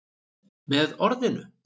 Með orðinu